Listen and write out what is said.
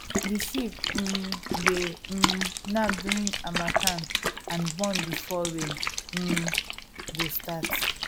the sheep um dey um knack during harmattan and born before rain um go start